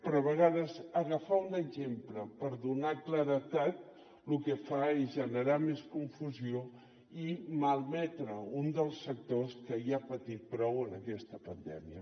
però a vegades agafar un exemple per donar claredat lo que fa és generar més confusió i malmetre un dels sectors que ja ha patit prou en aquesta pandèmia